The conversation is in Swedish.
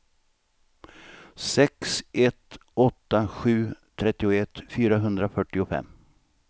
sex ett åtta sju trettioett fyrahundrafyrtiofem